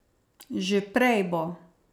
Že prej bo.